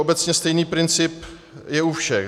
Obecně stejný princip je u všech.